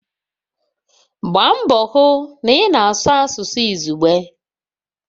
Gbaa mbọ hụ na ị na-asụ asụsụ izugbe!